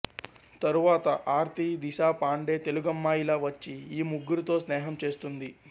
తరువాత ఆర్తి దిశా పాండే తెలుగమ్మాయిలా వచ్చి ఈ ముగ్గురితో స్నేహం చేస్తుంది